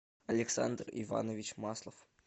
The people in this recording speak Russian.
александр иванович маслов